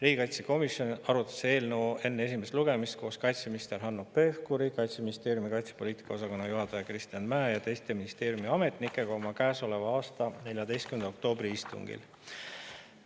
Riigikaitsekomisjon arutas eelnõu enne esimest lugemist koos kaitseminister Hanno Pevkuri, Kaitseministeeriumi kaitsepoliitika osakonna juhataja Kristjan Mäe ja teiste ministeeriumi ametnikega käesoleva aasta 14. oktoobri istungil.